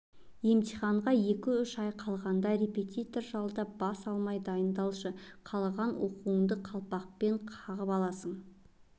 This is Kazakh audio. емтиханға екі-үш ай қалғанда репетитор жалдап бас алмай дайындалшы қалаған оқуыңды қалпақпен қағып аласың